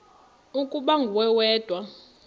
ukuba nguwe wedwa